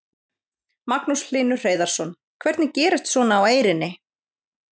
Magnús Hlynur Hreiðarsson: Hvernig gerist svona á Eyrinni?